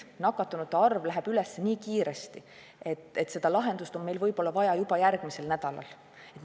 Nakatunute arv kasvab nii kiiresti, et meil on lahendust vaja võib-olla juba järgmisel nädalal.